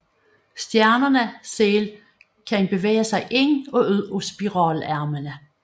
Stjernerne selv kan bevæge sig ind og ud af spiralarmene